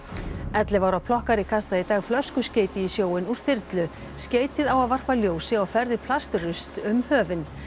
ellefu ára kastaði í dag flöskuskeyti í sjóinn úr þyrlu skeytið á að varpa ljósi á ferðir plastrusls um höfin